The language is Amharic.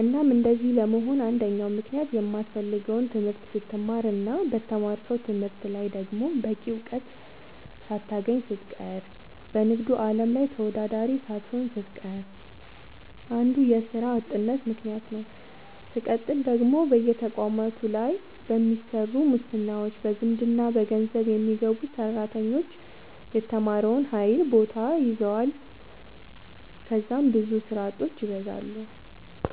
እናም እንደዚህ ለመሆን አንደኛው ምክንያት የማትፈልገውን ትምህርት ስትማር እና በተማርከው ትምህርት ላይ ደግሞ በቂ ውጤት ሳታገኝ ስትቀር በንግዱ አለም ላይ ተወዳዳሪ ሳትሆን ስትቀር አንዱ የስራ አጥነት ምከንያት ነዉ። ስቀጥል ደግሞ በየተቋማቱ ላይ በሚሰሩ ሙስናዎች፣ በዘመድና በገንዘብ የሚገቡ ሰራተኞች የተማረውን ኃይል ቦታ ይዘዋል ከዛም ብዙ ስራ አጦች ይበዛሉ።